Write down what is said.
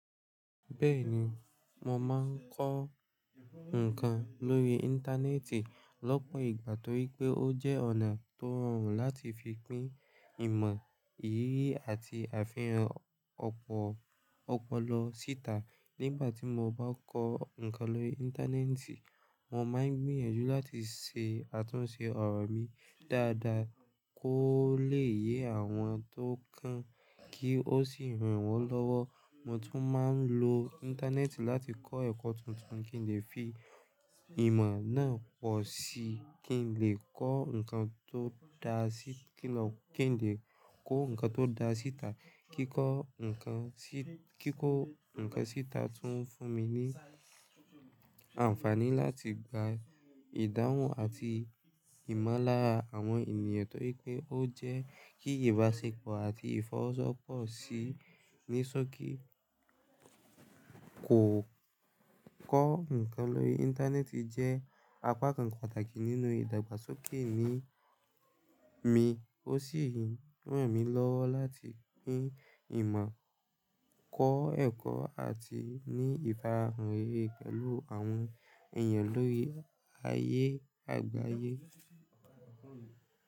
Bẹ́ẹ̀ni, mo máa ń kọ́ nǹkan lórí íńtánẹ́ẹ̀tì lọ́pọ̀ ìgbà torí pé ó jẹ́ ọ̀nà tó rọrùn láti fi pín ìmọ̀, eyì àti àfihàn ọ̀pọ̀ opolọ síta. Nígbà tí mo bá kọ́ nǹkan lórí íńtánẹ́ẹ̀tì, mo máa ń gbìyànjú láti ṣe àtúnṣe ọ̀rọ̀ mi dáadáa kó lè yé àwọn tó kàn, kí ó sì ràn wọ́n lọ́wọ́. Mo tún máa ń lò íńtánẹ́ẹ̀tì láti kọ́ ẹ̀kọ́ tuntun kí n lè fi ìmọ̀ náà pọ̀ sí kí n lè kọ ǹkan tó kí n lè kọ́ ǹkan tó dá síta, kíkọ́ nkan, kíkọ́ ǹkan síta tún fún mi ní àǹfààní láti gbà ìdáhùn àti ìmọ̀lára àwọn ènìyàn, torí pé ó jẹ àti ìfọwọ́sowọ́pọ̀. Kó kọ́ ǹkan lórí íńtánẹ́ẹ̀tì jẹ́ apá kan pàtàkì nínú ìdàgbàsókè mi. Ó sì ń ranmilowo láti pín ìmọ̀, kọ ẹ̀kọ àti ní ifara rere pẹ̀lú àwọn ènìyàn lórí ayé àgbáyé.